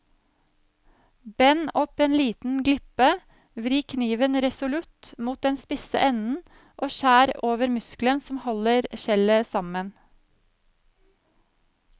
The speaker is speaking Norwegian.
Bend opp en liten glipe, vri kniven resolutt mot den spisse enden og skjær over muskelen som holder skjellet sammen.